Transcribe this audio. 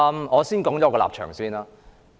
我先說說我的立場。